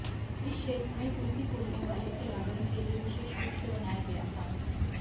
इस क्षेत्र में रूसी बोलने वाले खिलाड़ियों के लिए विशेष रूप से बनाया गया था